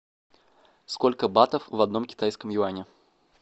сколько батов в одном китайском юане